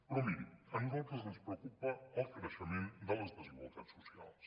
però miri a nosaltres ens preocupa el creixement de les desigualtats socials